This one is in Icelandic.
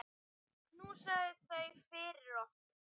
Knúsaðu þau fyrir okkur.